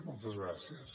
moltes gràcies